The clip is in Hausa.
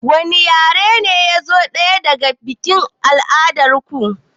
Wani yare ne yazo na ɗaya a biƙin al'adar ku